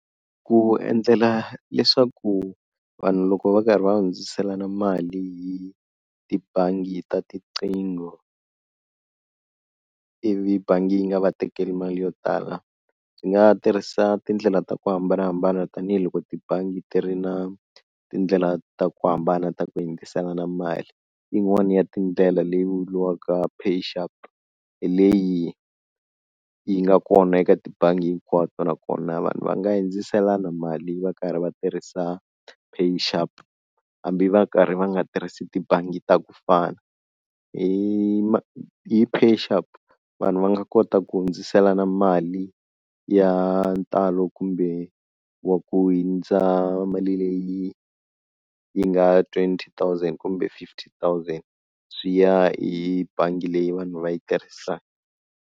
Ku endlela leswaku vanhu loko va karhi va hundziselana mali hi tibangi ta tiqingho ivi bangi yi nga va tekeli mali yo tala, hi nga tirhisa tindlela ta ku hambanahambana tanihiloko tibangi ti ri na tindlela ta ku hambana ta ku yingiselana mali, yin'wani ya tindlela leyi vuriwaka pay sharp hi leyi yi nga kona eka tibangi hinkwato nakona vanhu va nga hindziselana mali va karhi va tirhisa pay sharp, hambi va karhi va nga tirhisi tibangi ta ku fana hi hi pay sharp vanhu va nga kota ku hundziselana mali ya ntalo kumbe wa ku hundza mali leyi yi nga twenty thousand kumbe fifty thousand swi ya hi bangi leyi vanhu va yi tirhisaka.